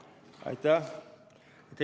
Aitäh!